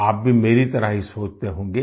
आप भी मेरी तरह ही सोचते होंगे